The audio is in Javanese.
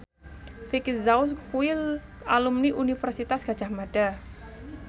Vicki Zao kuwi alumni Universitas Gadjah Mada